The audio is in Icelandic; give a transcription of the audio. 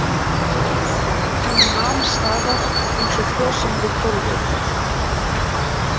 Hann nam staðar, eins og frosinn við gólfið.